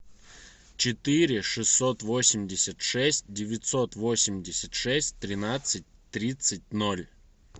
четыре шестьсот восемьдесят шесть девятьсот восемьдесят шесть тринадцать тридцать ноль